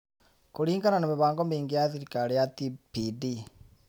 Kũringana na mĩbango mĩingĩ ya thirikari ya TPD.